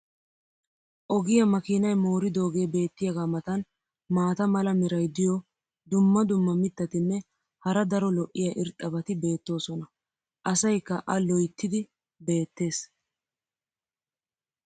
Ogiya makiinay mooridoogee beetiyaagaa matan maata mala meray diyo dumma dumma mitatinne hara daro lo'iya irxxabati beetoosona. asaykka a loyttiidi beetees.